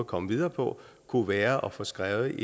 komme videre på kunne være at få skrevet